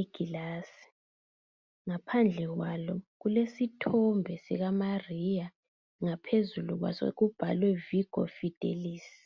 egilazi. Ngaphandle kwalo kulesithombe sikaMariya. Ngaphezulu kwaso kubhalwe Vigo Fidelisi.